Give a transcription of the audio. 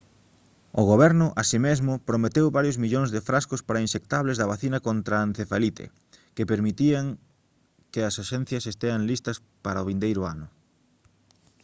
o goberno así mesmo prometeu varios millóns de frascos para inxectables da vacina contra a encefalite que permitirán que as axencias estean listas para o vindeiro ano